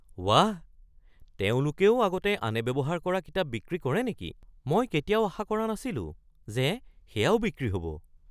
বাহ! তেওঁলোকেও আগতে আনে ব্যৱহাৰ কৰা কিতাপ বিক্ৰী কৰে নেকি? মই কেতিয়াও আশা কৰা নাছিলো যে সেয়াও বিক্ৰী হ'ব।